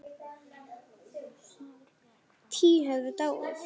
Tíu höfðu dáið.